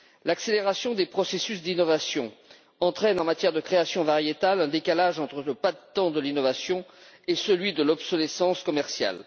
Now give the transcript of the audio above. L'accélération des processus d'innovation entraîne, en matière de création variétale, un décalage entre le pas de temps de l'innovation et celui de l'obsolescence commerciale.